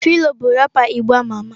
Phyno bu rápà igbo ama ama.